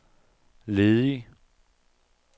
ledig